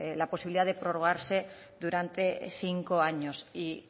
la posibilidad de prorrogarse durante cinco año